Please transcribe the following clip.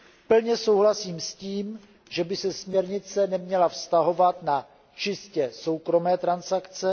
Plně souhlasím s tím, že by se směrnice neměla vztahovat na čistě soukromé transakce.